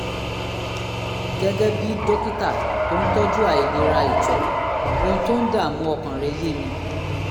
gẹ́gẹ́ bí dókítà tó ń tọ́jú àìlera ìtọ̀ ohun tó ń dààmú ọkàn rẹ́ yé mi